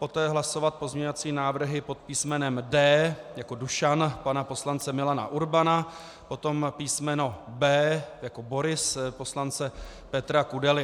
Poté hlasovat pozměňovací návrhy pod písmenem D jako Dušan pana poslance Milana Urbana, potom písmeno B jako Boris poslance Petra Kudely.